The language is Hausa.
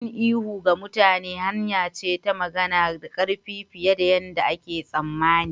Yin ihu ga mutane hanya ce ta magana da ƙarfi fiye da yarda ake tsammani.